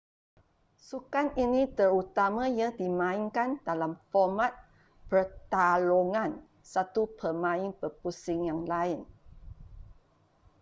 sukan ini terutamanya dimainkan dalam format pertarungan satu pemain berpusing yang lain